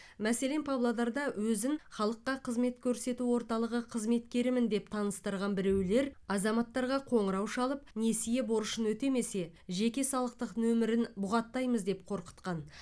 мәселен павлодарда өзін халыққа қызмет көрсету орталығы қызметкерімін деп таныстырған біреулер азаматтарға қоңырау шалып несие борышын өтемесе жеке салықтық нөмірін бұғаттаймыз деп қорқытқан